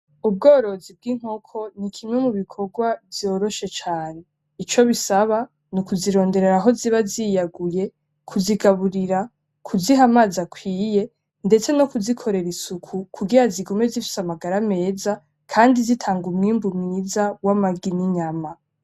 Ubworozi bw'inkoko nikimwe mubikorwa vyoroshe cane. Ico bisaba nukuzironderera ahoziba ziyaguye kuzigaburira kuziha amazi akwiye ndetse nokuzikorera isuku kugira zigume zifise amagara meza kandi zitanga umwimbu mwiza wamagi n'inyama.